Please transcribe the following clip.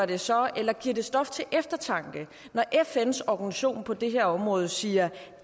det så eller giver stof til eftertanke når fns organisation på det her område siger